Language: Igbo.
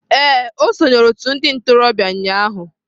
Ee, o sonyeere otu ndị ntorobịa ụnyahụ.